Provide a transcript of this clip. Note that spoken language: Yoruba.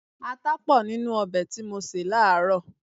Ata pọ̀ nínú ọbẹ̀ tí mo sè láàárọ̀.